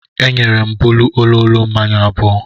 E nyere m Bolu ololo mmanya abụọ.